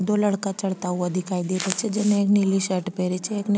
दो लड़का चढ़ता हुआ दिखाई दे रा छे जेमे एक ने नीली शर्ट पहनी छे एक ने --